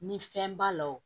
Ni fɛn b'a la o